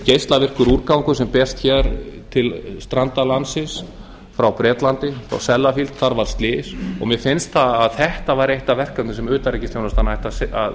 geislavirkur úrgangur sem berst hér til stranda landsins frá bretlandi og sellafield þar var slys og mér finnst að þetta væri eitt af verkefnum sem utanríkisþjónustan ætti að